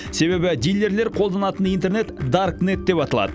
себебі дилерлер қолданатын интернет дарк нет деп аталады